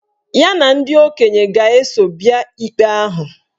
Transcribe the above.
Ya na ndị okenye ga-eso bịa ikpe ahụ